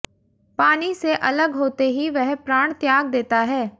पानी से अलग होते ही वह प्राण त्याग देता है